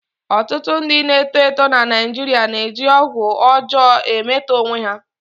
Ọtụtụ ndị na-eto eto na Naijiria na-eji ọgwụ ọjọọ emetọ onwe ha.